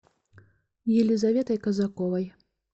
елизаветой казаковой